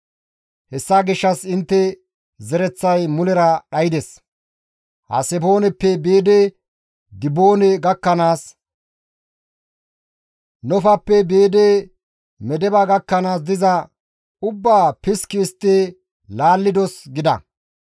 Hessa gishshas istta zereththay mulera dhaydes; Hasebooneppe biidi Diboone gakkanaas Nofappe biidi Medeba gakkanaas diza ubbaa piski histti laallidos» gida.